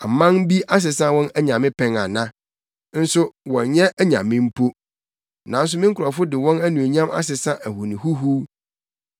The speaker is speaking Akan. Ɔman bi asesa wɔn anyame pɛn ana? Nso wɔnnyɛ anyame mpo. Nanso me nkurɔfo de wɔn anuonyam asesa ahoni huhuw.